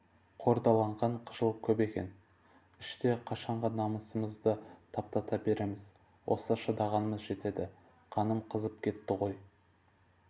қордаланған қыжыл көп екен іште қашанғы намысымызды таптата береміз осы шыдағанымыз жетеді қаным қызып кетті ғой